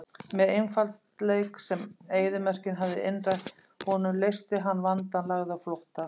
Með einfaldleik sem eyðimörkin hafði innrætt honum leysti hann vandann, lagði á flótta.